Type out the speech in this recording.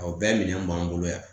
Aw bɛɛ minɛ b'an bolo yan